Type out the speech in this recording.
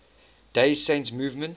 day saint movement